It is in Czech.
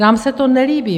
Nám se to nelíbí.